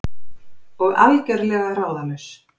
Og algjörlega ráðalaus.